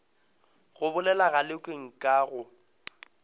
go bolela galekwe nka go